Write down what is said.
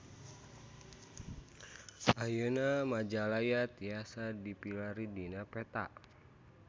Ayeuna Majalaya tiasa dipilarian dina peta